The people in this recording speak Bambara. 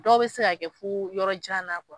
Dɔw bɛ se ka kɛ fo yɔrɔ jan na